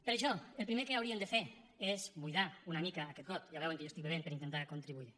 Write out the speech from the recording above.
per això el primer que hauríem de fer és buidar una mica aquest got ja veuen que jo estic bevent per intentar contribuir hi